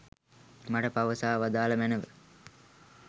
මට පවසා වදාළ මැනව.